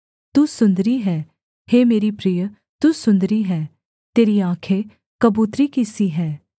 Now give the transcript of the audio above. तू सुन्दरी है हे मेरी प्रिय तू सुन्दरी है तेरी आँखें कबूतरी की सी हैं